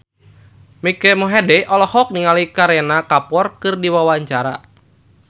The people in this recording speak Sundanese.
Mike Mohede olohok ningali Kareena Kapoor keur diwawancara